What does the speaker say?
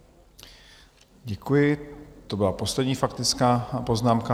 Děkuji, to byla poslední faktická poznámka.